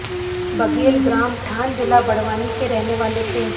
बघेल ग्राम ठान जिला बड़वानी के रहने वाले थे